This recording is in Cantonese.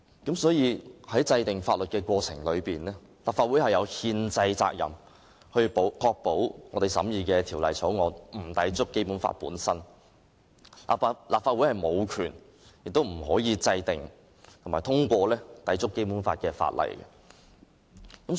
因此，在制定法律的過程中，立法會有憲制責任確保我們審議的法案不會抵觸《基本法》，立法會無權亦不可以制定和通過抵觸《基本法》的法例。